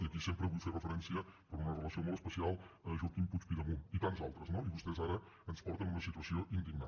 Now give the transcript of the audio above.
i aquí sempre vull fer referència per una relació molt especial a joaquim puig pidemunt i tants d’altres no i vostès ara ens porten una situació indignant